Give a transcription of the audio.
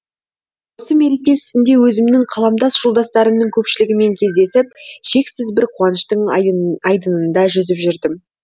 осы мереке үстінде өзімнің қаламдас жолдастарымның көпшілігімен кездесіп шексіз бір қуаныштың айдынында жүзіп жүрдім